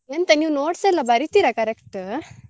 ಎಂತ ನೀವ್ notes ಎಲ್ಲ ಬರೀತೀರಾ correct ?